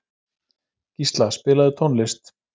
Gísla, spilaðu tónlist.